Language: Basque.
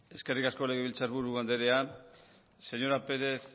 eskerrik asko legebiltzar buru anderea señora